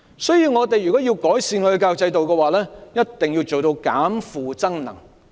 所以，如果我們要改善教育制度，一定要做到"減負增能"。